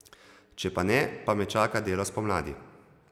Če pa ne, pa me čaka delo spomladi.